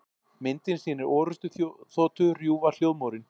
Myndin sýnir orrustuþotu rjúfa hljóðmúrinn.